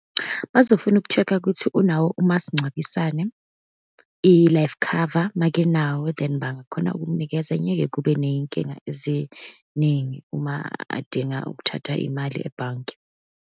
Bazofuna uku-check-a ukuthi unawo umasingcwabisane, i-life cover. Uma-ke enawo bangakhona ukumnikeza, ngeke kube ney'nkinga eziningi uma adinga ukuthatha imali ebhange.